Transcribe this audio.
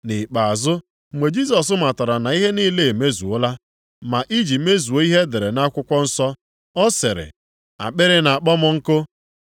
Nʼikpeazụ, mgbe Jisọs matara na ihe niile emezuola. Ma iji mezuo ihe e dere nʼakwụkwọ nsọ, ọ sịrị, “Akpịrị na-akpọ m nkụ.”